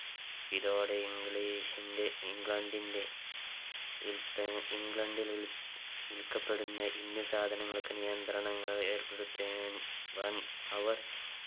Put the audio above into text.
ഇതോടെ English ന്റെ ഇംഗ്ലണ്ടിന്റെ വിൽപ ഇംഗ്ലണ്ടിൽവിൽ വിൽക്കപ്പെടുന്ന indian സാധനങ്ങൾക്ക് നിയന്ത്രണങ്ങൾ ഏർപ്പെടുത്തേ ഏർ വൻ അവർ